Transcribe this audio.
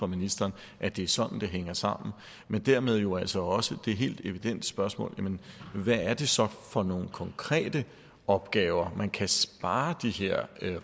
ministeren at det er sådan det hænger sammen men dermed er der jo altså også det helt evidente spørgsmål hvad er det så for nogle konkrete opgaver man kan spare de her